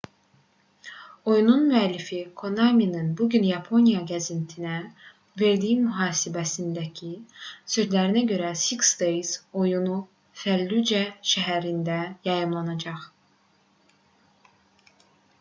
oyunun müəllifi konaminin bu gün yaponiya qəzetinə verdiyi mühasibəsindəki sözlərinə görə six days oyunu fəllucə şəhərində yayımlanmayacaq